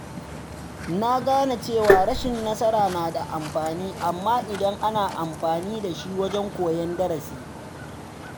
Na gane cewa rashin nasara na da amfani idan ana amfani da shi wajen koyon darasi.